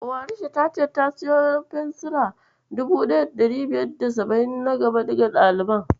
Warisha ta ce ta siyo fensira 1570 na gaba duka ɗaliban.